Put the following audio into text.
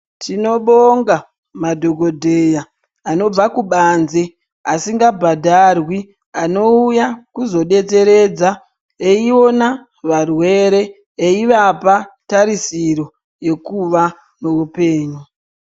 Tinovonga madhokodheya anobva kubanze asinga bhadharwi anouya kuzodetseredza eiona varwere eivapa tarisiro yekuva neupenyu.